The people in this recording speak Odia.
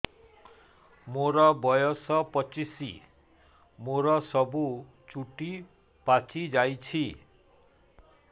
ମୋର ବୟସ ପଚିଶି ମୋର ସବୁ ଚୁଟି ପାଚି ଯାଇଛି